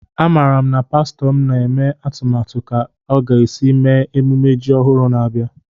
A mara m na pastọ m na-eme atụmatụ ka o ga esi mee emume ji ọhụrụ na-abịa